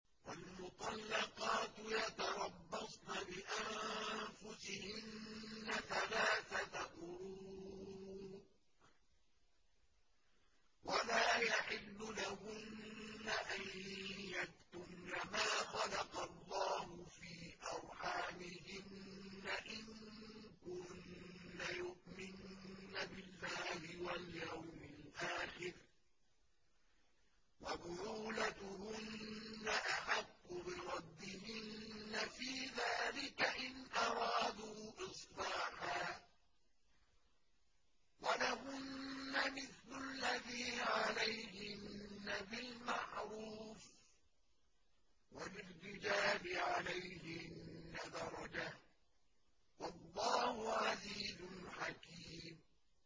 وَالْمُطَلَّقَاتُ يَتَرَبَّصْنَ بِأَنفُسِهِنَّ ثَلَاثَةَ قُرُوءٍ ۚ وَلَا يَحِلُّ لَهُنَّ أَن يَكْتُمْنَ مَا خَلَقَ اللَّهُ فِي أَرْحَامِهِنَّ إِن كُنَّ يُؤْمِنَّ بِاللَّهِ وَالْيَوْمِ الْآخِرِ ۚ وَبُعُولَتُهُنَّ أَحَقُّ بِرَدِّهِنَّ فِي ذَٰلِكَ إِنْ أَرَادُوا إِصْلَاحًا ۚ وَلَهُنَّ مِثْلُ الَّذِي عَلَيْهِنَّ بِالْمَعْرُوفِ ۚ وَلِلرِّجَالِ عَلَيْهِنَّ دَرَجَةٌ ۗ وَاللَّهُ عَزِيزٌ حَكِيمٌ